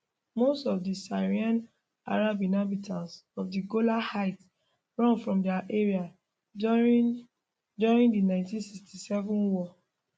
most of di syrian arab inhabitants of di golan heights run from di area during during di 1967 war